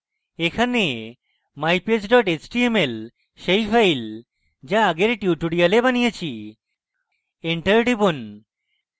এখানে mypage html সেই file যা আগের tutorial বানিয়েছি enter টিপুন